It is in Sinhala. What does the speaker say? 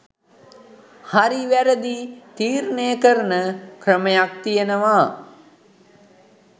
හරි වැරදි තීරණය කරන ක්‍රමයක් තියනවා